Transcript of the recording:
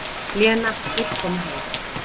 Lena vill koma heim.